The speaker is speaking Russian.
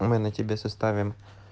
мы на тебе составим